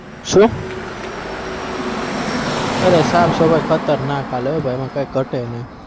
શું અરે સાફસફાઈ ખતરનાક ચાલે હો ભાઈ એમાં કઈ ઘટે નહિ.